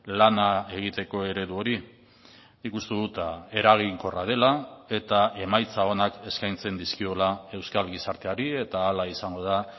lana egiteko eredu hori nik uste dut eraginkorra dela eta emaitza onak eskaintzen dizkiola euskal gizarteari eta hala izango da